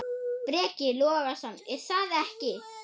Breki Logason: Er það ekki?